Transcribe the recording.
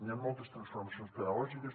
hi han moltes transformacions pedagògiques